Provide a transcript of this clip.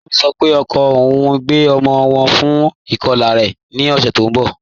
Kẹmi sọ́ pé ọkọ ọun ń gbẹ ọmọ wọn fún ikọla rẹ̀ ní ọ̀ṣẹ́ tì n bọ́.